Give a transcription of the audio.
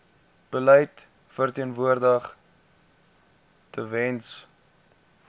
beleid verteenwoordig tewens